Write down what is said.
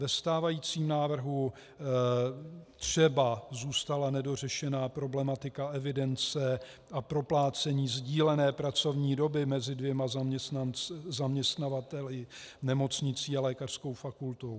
Ve stávajícím návrhu třeba zůstala nedořešena problematika evidence a proplácení sdílené pracovní doby mezi dvěma zaměstnavateli, nemocnicí a lékařskou fakultou.